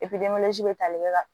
bɛ tali kɛ ka